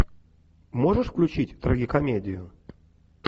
можешь включить трагикомедию